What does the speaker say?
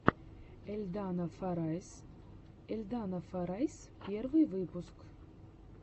эльдана форайз эльдана форайс первый выпуск